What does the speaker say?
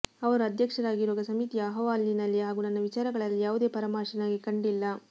ಅವರು ಅಧ್ಯಕ್ಷರಾಗಿರುವ ಸಮಿತಿಯ ಅಹವಾಲಿನಲ್ಲಿ ಹಾಗೂ ನನ್ನ ವಿಚಾರಗಳಲ್ಲಿ ಯಾವುದೇ ಪರಾಮರ್ಶೆ ನನಗೆ ಕಂಡಿಲ್ಲ